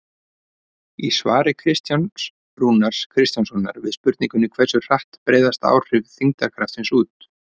Í svari Kristjáns Rúnars Kristjánssonar við spurningunni Hversu hratt breiðast áhrif þyngdarkraftsins út?